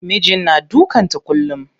Mijin na dukan ta kullum.